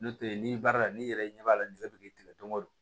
N'o tɛ n'i baara la n'i yɛrɛ ɲɛ b'a la nɛgɛ bɛ tigɛ don o don